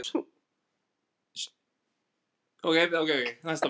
Sjúkrabíllinn kom eftir nokkrar mínútur og lögreglumennirnir fóru inn með ömmunni og Tóta.